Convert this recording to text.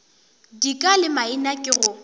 dika le maina ke go